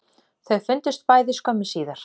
Þau fundust bæði skömmu síðar